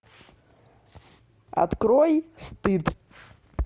открой стыд